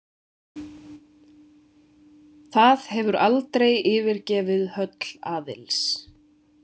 Það hefur aldrei yfirgefið höll Aðils.